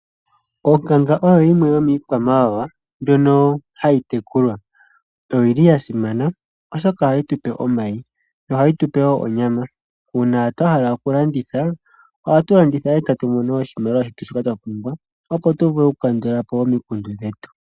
Onkanga oyo yimwe yomiikwamawawa mbyono hayi tekulwa. Oyi li ya simana oshoka ohayi tupe omayi, ohayi tupe woo onyama . Uuna twa hala okulanditha, ohatu landitha etatu mono oshimaliwa shoka twa pumbwa, opo tu vule okukandula po omikundu dhetu.